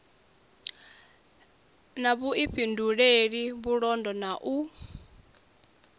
na vhuifhinduleli vhulondo na u